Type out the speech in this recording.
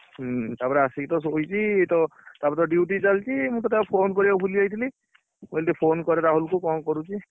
ହୁଁ ତାପରେ ଆସିକି ତ ସୋଇଛି ତ ତାପରେ ତ duty ଚାଲିଛି ମୁଁ ତୋତେ phone କରିବାକୁ ଭୁଲିଯାଇଥିଲି ମୁଁ କହିଲି ଟିକେ phone କରେ ରାହୁଲ କୁ କଣ କରୁଛି?